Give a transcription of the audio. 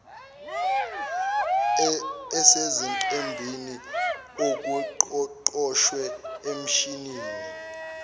esezingqwembeni okuqoshwe emshinini